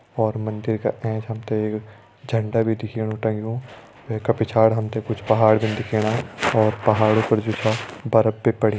और मंदिर का एंच हम ते एक झंडा भी दिखेणु टंग्यू वैका पिछाड़ी हम ते कुछ पहाड़ भीन दिखेणा और पहाड़ी पर जु छा बर्फ भी पड़ीं।